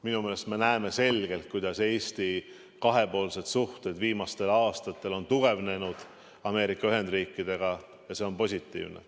Minu meelest me näeme selgelt, kuidas Eesti kahepoolsed suhted Ameerika Ühendriikidega on viimastel aastatel tugevnenud, ja see on positiivne.